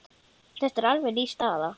Þetta er alveg ný staða.